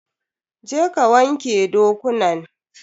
Je ka wanke dokunan!